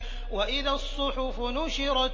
وَإِذَا الصُّحُفُ نُشِرَتْ